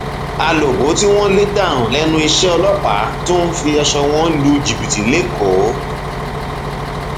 alòbó tí wọn lè dànù lẹnu iṣẹ ọlọpàá tún ń fi aṣọ wọn lu jìbìtì lẹkọọ